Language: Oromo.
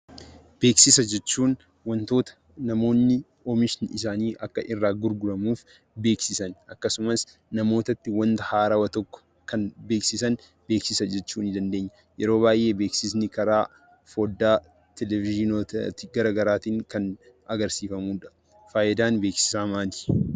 Beeksisa jechuun wantoota namoonni oomishni isaanii akka irraa gurguramuuf beeksisan; akkasumas namoota itti wanta haarawwa tokko kan beeksisan beeksisa jechuu ni dandeenya. Beeksisni yeroo baay'ee karaa foddaa dhag-ilaaliin kan agarsiifamudha. Faayidaan beeksisaa maali?